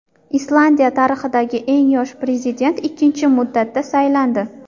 Islandiya tarixidagi eng yosh prezident ikkinchi muddatga saylandi.